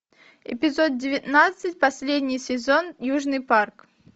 эпизод девятнадцать последний сезон южный парк